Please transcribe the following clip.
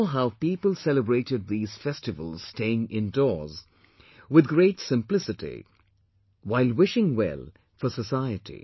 We saw how people celebrated these festivals staying indoors, with great simplicity while wishing well for society